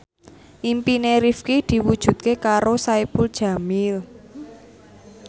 impine Rifqi diwujudke karo Saipul Jamil